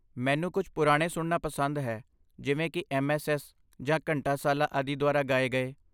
ਮੈਨੂੰ ਕੁੱਝ ਪੁਰਾਣੇ ਸੁਣਨਾ ਪਸੰਦ ਹੈ ਜਿਵੇਂ ਕਿ ਐੱਮਐੱਸਐੱਸ ਜਾਂ ਘੰਟਾਸਾਲਾ ਆਦਿ ਦੁਆਰਾ ਗਾਏ ਗਏ